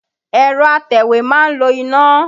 Ẹ̀rọ atẹ̀wé ma ń lo iná.